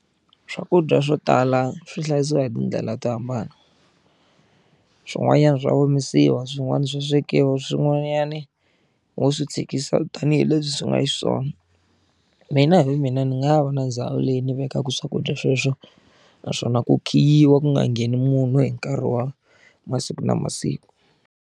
Swakudya swo tala swi hlayisiwa hi tindlela to hambana swin'wanyana swa omisiwa swin'wana swo swekiwa swin'wani ho swi tshikisa tanihileswi swi nga xiswona mina hi vumina ni nga va na ndhawu leyi ni vekaka swakudya sweswo naswona ku khiyiwa ku nga ngheni munhu hi nkarhi wa masiku na masiku.